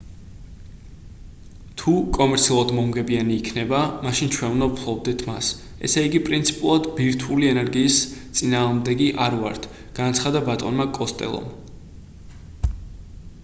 თუ კომერციულად მომგებიანი იქნება მაშინ ჩვენ უნდა ვფლობდეთ მას ესე იგი პრინციპულად ბირთვული ენერგიის წინააღმდეგი არ ვართ - განაცხადა ბატონმა კოსტელომ